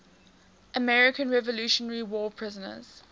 american revolutionary war prisoners